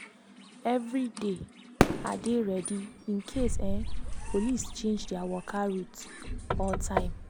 every day i dey ready in case um police change their waka route or time.